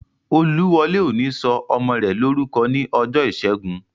Olúwọlé ò ní sọ ọmọ rẹ̀ lórúkọ ní ọjọ́ ìṣẹ́gun